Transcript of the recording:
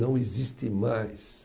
Não existe mais.